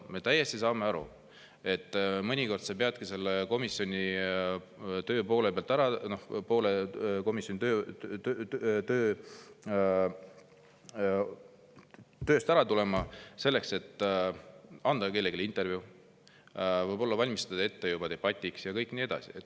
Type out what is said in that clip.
Me täiesti saame aru, et mõnikord peadki poole pealt komisjoni ära tulema selleks, et anda kellelegi intervjuu, võib-olla valmistada ette juba debatiks ja kõik nii edasi.